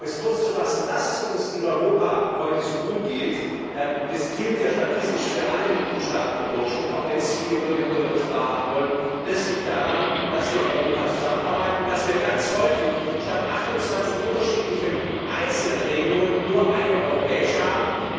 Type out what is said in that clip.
Aber um mich kurz zu fassen Dass es uns in Europa heute so gut geht und das gilt ja statistisch für alle Mitgliedstaaten im Durchschnitt, auch wenn es viele Bürgerinnen und Bürger nicht wahrhaben wollen das liegt daran, dass wir in Europa zusammenarbeiten, dass wir ganz häufig statt 28 unterschiedlichen einzelnen Regelungen nur eine europäische haben.